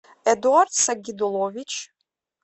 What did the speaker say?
эдуард сагидуллович